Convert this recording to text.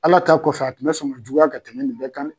Ala ta kɔfɛ, a tun bɛ sɔn ka juguyaya ka tɛmɛ nin bɛɛ kan.